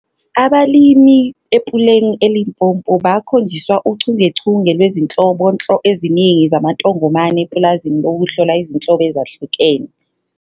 Abalimi ePuleng eLimpopo bakhonjiswa uchungechunge lwezinhlobonhlo eziningi zamantongomane epulazini lokuhlola izinhlobo ezahlukene.